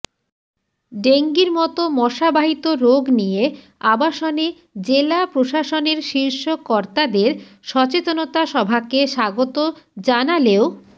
ডেঙ্গির মতো মশাবাহিত রোগ নিয়ে আবাসনে জেলা প্রশাসনের শীর্ষকর্তাদের সচেতনতা সভাকে স্বাগত জানালেও